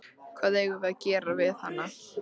Hvað eigum við að gera við hana?